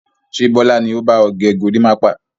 Ṣé Bọlá ni ó ba ọ gẹ gorímápá?